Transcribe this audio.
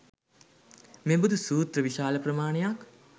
මෙබඳු සූත්‍ර විශාල ප්‍රමාණයක්